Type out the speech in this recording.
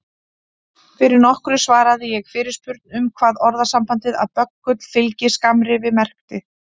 Fyrir nokkru svaraði ég fyrirspurn um hvað orðasambandið að böggull fylgi skammrifi merkti.